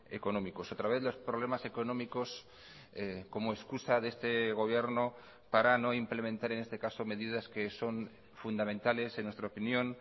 económicos otra vez los problemas económicos como excusa de este gobierno para no implementar en este caso medidas que son fundamentales en nuestra opinión